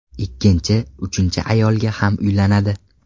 Ikkinchi, uchinchi ayolga ham uylanadi.